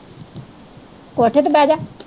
ਕੋਠੇ ਤੇ ਬਹਿ ਜ।